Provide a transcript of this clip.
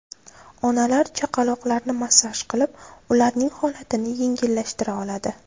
Onalar chaqaloqlarini massaj qilib, ularning holatini yengillashtira oladi.